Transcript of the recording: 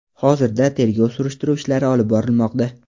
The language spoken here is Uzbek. Hozirda tergov surishtiruv ishlari olib borilmoqda.